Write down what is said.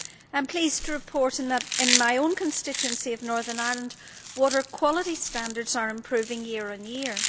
I am pleased to report that in my own constituency of Northern Ireland, water quality standards are improving year on year.